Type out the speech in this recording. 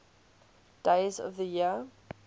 days of the year